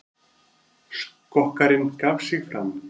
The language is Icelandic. Skokkarinn gaf sig fram